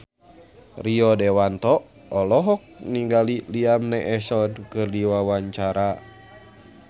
Rio Dewanto olohok ningali Liam Neeson keur diwawancara